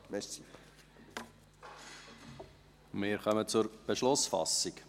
Wir kommen zur Beschlussfassung.